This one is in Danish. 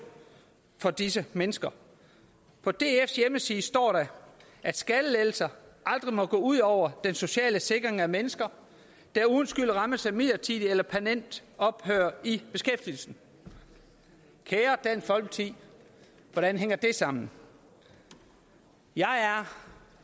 for disse mennesker på dfs hjemmeside står der at skattelettelser aldrig må gå ud over den sociale sikring af mennesker der uden skyld rammes af midlertidigt eller permanent ophør i beskæftigelsen kære dansk folkeparti hvordan hænger det sammen jeg er